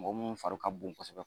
Mɔgɔ mun fari ka bon kɔsɛbɛ.